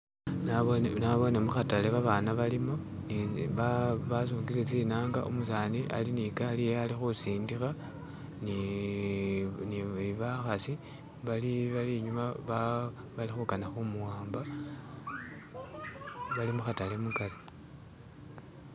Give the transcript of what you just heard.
Naboone mukhatale babana balimo basungile tsinanga, umusani ali ne gali yewe ali khusindikha ni bakhasi bali inyuma bali khukana khu muwamba, bali mukhatale mukari.